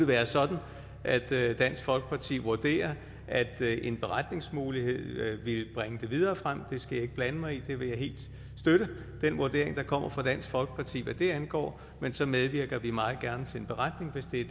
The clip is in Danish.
være sådan at dansk folkeparti vurderer at en beretningsmulighed ville bringe det videre frem det skal jeg ikke blande mig i jeg vil helt støtte den vurdering der kommer fra dansk folkeparti hvad det angår så medvirker vi meget gerne til en beretning hvis det er